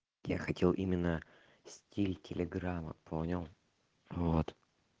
я хотел именно стиль телеграмма понял вот